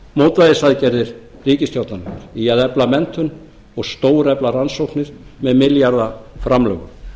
mótvægisaðgerðir ríkisstjórnarinnar í að efla menntun og stórefla rannsóknir með milljarða framlögum